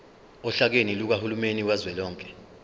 ohlakeni lukahulumeni kazwelonke